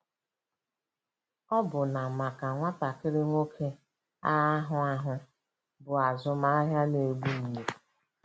Ọbụna maka nwatakịrị nwoke, agha ahụ ahụ bụ azụmahịa na-egbu mgbu.